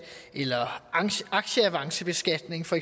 eller aktieavancebeskatning for